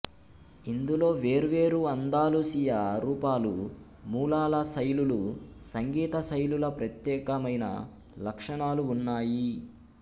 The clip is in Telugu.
ఇందులో వేర్వేరు అందాలూసియా రూపాలు మూలాల శైలులు సంగీత శైలుల ప్రత్యేకమైన లక్షణాలు ఉన్నాయి